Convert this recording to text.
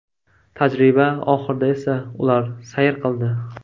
Tajriba oxirida esa ular sayr qildi.